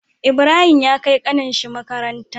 Ibrahim ya kai ƙanin shi makaranta